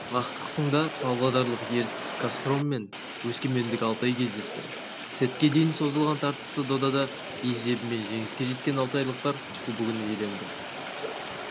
ақтық сында павлодарлық ертіс-казхром мен өскемендік алтай кездесті сетке дейін созылған тартысты додада есебімен жеңіске жеткен алтайлықтар кубогын иеленді